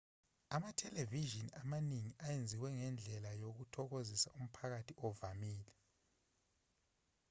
amathelevishini amaningi enziwe ngendlela yokuthokozisa umphakathi ovamile